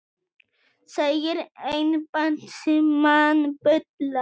Segir embættismann bulla